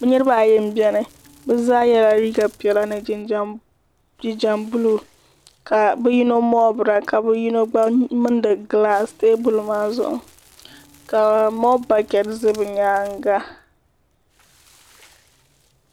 niribaayi n bɛni be zaa yɛla liga piɛli ni jinjam bulo ka be yino moobira ka be yino gba mɛlindi tɛbuli maa zuɣ ka mobali ʒɛ be nyɛŋa